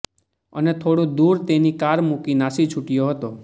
અને થોડુ દુર તેની કાર મુકી નાસી છુટ્યો હતો